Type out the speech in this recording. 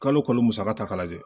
Kalo kalo kalo musaka ta k'a lajɛ